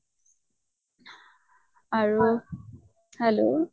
আৰু hello